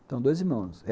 Tenho dois irmãos.